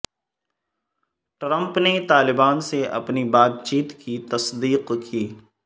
Trump نے طالبان سے اپنی بات چیت کی تصدیق کی